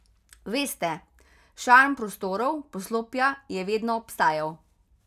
Veste, šarm prostorov, poslopja je vedno obstajal.